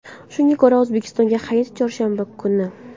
Shunga ko‘ra, O‘zbekistonda hayit chorshanba kuni.